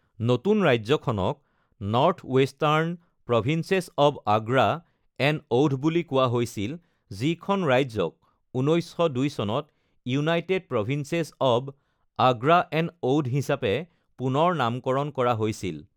নতুন ৰাজ্যখনক North Western Provinces of Agra and Oudh বুলি কোৱা হৈছিল, যিখন ৰাজ্যক ১৯০২ চনত United Provinces of Agra and Oudh হিচাপে পুনৰ নামকৰণ কৰা হৈছিল।